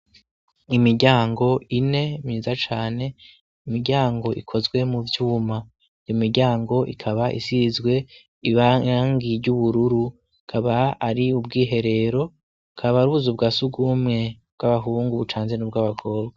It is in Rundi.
Imiryango ine myiza cane imiryango ikozwe mu vyuma imiryango ikaba isizwe irangi ry'ubururu akaba ari ubwiherero bukaba ari ubuzu bwasugumwe bw'abahungu bucanze n'ubwabakobwa.